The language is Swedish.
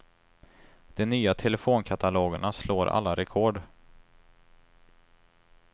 De nya telefonkatalogerna slår alla rekord.